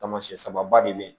Taamasiyɛn sababa de bɛ yen